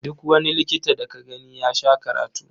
Duk wani likita da ka gani ya sha karatu.